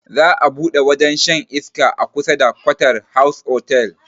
Za a buɗe wajen shan iska a kusa da quarter house otal